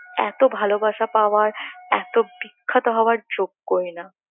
এত ভালোবাসা পাওয়ার এত বিখ্যাত হবার যোগ্যই না